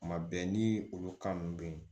Kuma bɛɛ ni olu kan ninnu bɛ yen